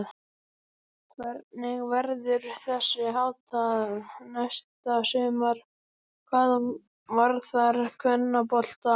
Hvernig verður þessu háttað næsta sumar hvað varðar kvennabolta?